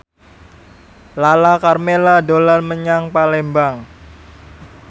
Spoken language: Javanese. Lala Karmela dolan menyang Palembang